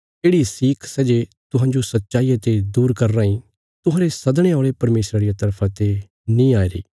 येढ़ि सीख सै जे तुहांजो सच्चाईया ते दूर करी राईं तुहांरे सद्दणे औल़े परमेशरा रिया तरफा ते नीं आईरी